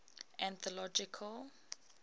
anthological